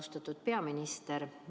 Austatud peaminister!